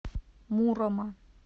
мурома